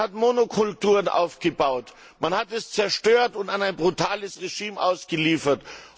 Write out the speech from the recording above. Man hat Monokulturen aufgebaut, man hat es zerstört und an ein brutales Regime ausgeliefert.